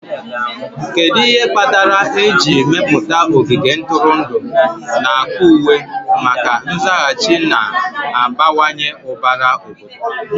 Kedu ihe kpatara eji mepụta ogige ntụrụndụ n'akpa uwe maka nzaghachi na-abawanye ụbara obodo?